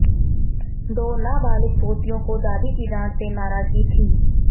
दो नाबालिग पोतियों को दादी की डांट से नाराजगी थी